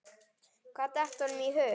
Hvað datt honum í hug?